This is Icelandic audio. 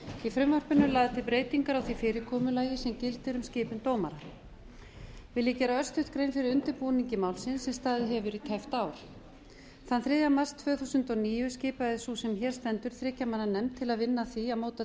í frumvarpinu eru lagðar til breytingar frá því fyrirkomulagi sem gildir um skipun dómara vil ég gera örstutt grein fyrir undirbúningi málsins sem staðið hefur í tæpt ár þann þriðja mars tvö þúsund og níu skipaði sú sem hér stendur þriggja manna nefnd til að vinna að því að móta